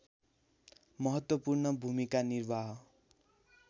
महत्त्वपूर्ण भूमिका निर्वाह